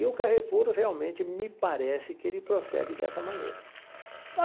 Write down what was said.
E o Carrefour realmente me parece que ele procede dessa maneira.